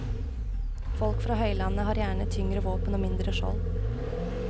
Folk fra høylandet har gjerne tyngre våpen og mindre skjold.